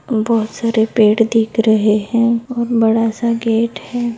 बहुत सेर पड़े देख रहे है और बड़ा सा गेट है।